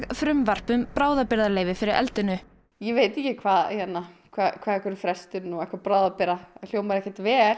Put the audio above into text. frumvarp um bráðabirgðaleyfi fyrir eldinu ég veit ekki hvað hvað hvað einhver frestun og eitthvað bráðabirgða hljómar ekkert vel